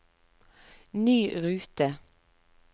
ny rute